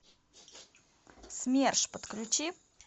смерш подключи